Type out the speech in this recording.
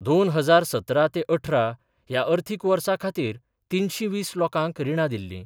दोन हजार सतरा ते अठरा ह्या अर्थीक वर्सा खातीर तिनशी वीस लोकांक रिणां दिल्लीं.